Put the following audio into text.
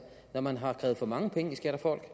når man har opkrævet for mange penge i skat af folk